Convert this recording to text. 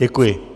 Děkuji.